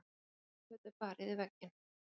Blikkfötu barið í vegginn.